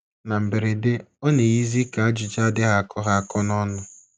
Na mberede, ọ na - eyizi ka ajụjụ adịghị akọ ha akọ n’ọnụ.